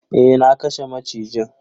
Eh, na kashe macijin.